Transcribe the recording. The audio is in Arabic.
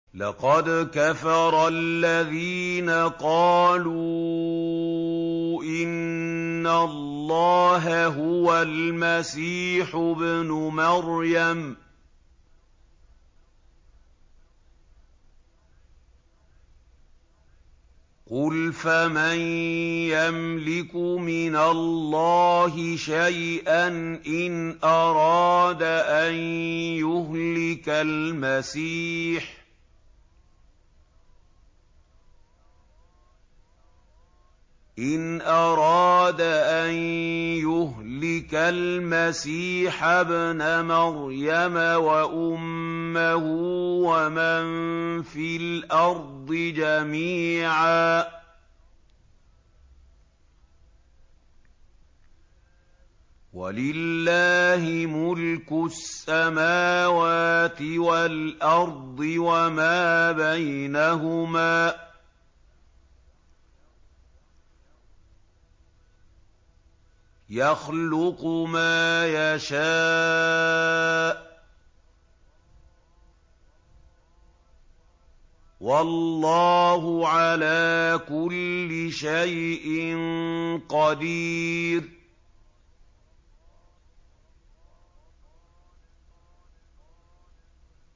لَّقَدْ كَفَرَ الَّذِينَ قَالُوا إِنَّ اللَّهَ هُوَ الْمَسِيحُ ابْنُ مَرْيَمَ ۚ قُلْ فَمَن يَمْلِكُ مِنَ اللَّهِ شَيْئًا إِنْ أَرَادَ أَن يُهْلِكَ الْمَسِيحَ ابْنَ مَرْيَمَ وَأُمَّهُ وَمَن فِي الْأَرْضِ جَمِيعًا ۗ وَلِلَّهِ مُلْكُ السَّمَاوَاتِ وَالْأَرْضِ وَمَا بَيْنَهُمَا ۚ يَخْلُقُ مَا يَشَاءُ ۚ وَاللَّهُ عَلَىٰ كُلِّ شَيْءٍ قَدِيرٌ